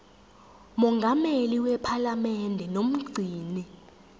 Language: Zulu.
mongameli wephalamende nomgcini